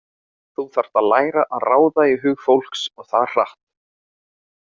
Þú þarft að læra að ráða í hug fólks og það hratt.